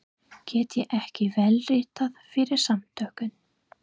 Get ég ekki vélritað fyrir Samtökin?